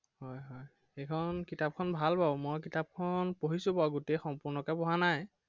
হয় হয় সেইখন কিতাপখন ভাল বাৰু মই কিতাপখন পঢ়িছো বাৰু। গোটেই সম্পূৰ্ণকে পঢ়া নাই।